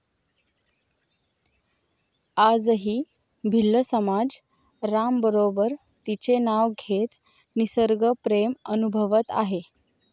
आजही भिल्ल समाज रामबरोबर तिचे नाव घेत निसर्गप्रेम अनुभवत आहे.